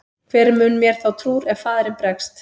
Hver mun mér þá trúr ef faðirinn bregst?